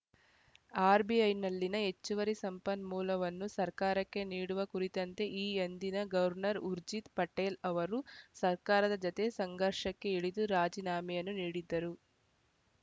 ಆರ್‌ಬಿಐನಲ್ಲಿನ ಹೆಚ್ಚುವರಿ ಸಂಪನ್ಮೂಲವನ್ನು ಸರ್ಕಾರಕ್ಕೆ ನೀಡುವ ಕುರಿತಂತೆ ಈ ಅಂದಿನ ಗವರ್ನರ್‌ ಊರ್ಜಿತ್‌ ಪಟೇಲ್‌ ಅವರು ಸರ್ಕಾರದ ಜತೆ ಸಂಘರ್ಷಕ್ಕೆ ಇಳಿದು ರಾಜೀನಾಮೆಯನ್ನು ನೀಡಿದ್ದರು